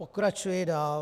Pokračuji dál.